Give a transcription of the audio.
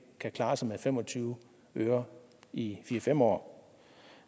kan klare sig med fem og tyve øre i fire fem år